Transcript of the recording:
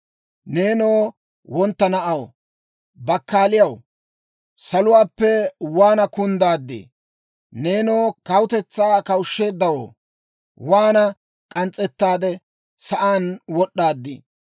«Neenoo wontta na'aw, bakkaaliyaw, saluwaappe waana kunddaadii! Neenoo kawutetsaa kawushsheeddawoo, waana k'ans's'ettaade sa'aan wod'd'aadii!